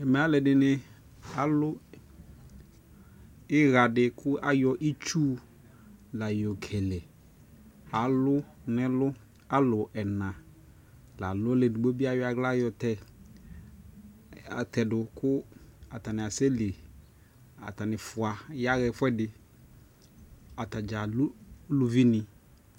Ɛmɛalʋɔdi ni alʋ iɣa di ni kʋ ayɔ itsu la yokele Alʋ nʋ ɛlʋ, alʋ ɛna la lʋ mʋ edigbo bi ayɔ aɣla yɔtɛ atɛdʋ kʋ atani asɛ lι Atani fua yaɣaɛfuɛdi, atadza lʋ uluvi ni